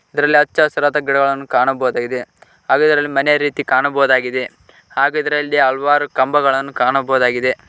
ಇದರಲ್ಲಿ ಅಚ್ಚಹಸಿರಾದ ಗಿಡಗಳನ್ನು ಕಾಣಬಹುದಾಗಿದೆ ಹಾಗೆ ಇದರಲ್ಲಿ ಮನೆ ರೀತಿ ಕಾಣಬಹುದಾಗಿದೆ ಹಾಗೆ ಇದರಲ್ಲಿ ಹಲವಾರು ಕಂಬಗಳನ್ನು ಕಾಣಬಹುದಾಗಿದೆ.